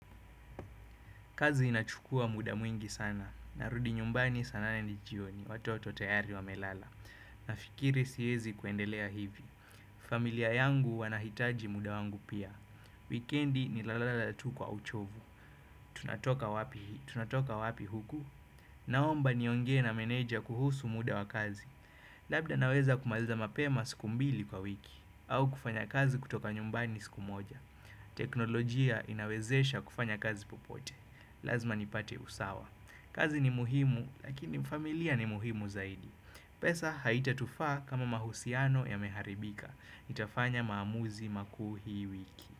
Kazi inachukua muda mwingi sana, narudi nyumbani saa nane jioni, watoto tayari wamelala, nafikiri siwezi kuendelea hivi. Kazi inachukua muda mwingi sana, narudi nyumbani saa nane jioni, watoto tayari wamelala, nafikiri siwezi kuendelea hivi. Naomba niongee na meneja kuhusu muda wa kazi, labda naweza kumaliza mapema siku mbili kwa wiki, au kufanya kazi kutoka nyumbani siku moja. Teknolojia inawezesha kufanya kazi popote. Lazima nipate usawa. Kazi ni muhimu lakini familia ni muhimu zaidi. Pesa haitatufaa kama mahusiano yameharibika. Nitafanya maamuzi makuu hii wiki.